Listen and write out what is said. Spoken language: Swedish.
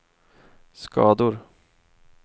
skador